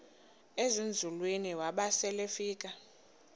ezinzulwini waba selefika